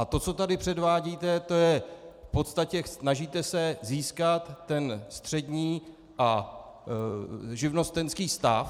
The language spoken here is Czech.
A to, co tady předvádíte, to je v podstatě - snažíte se získat ten střední a živnostenský stav.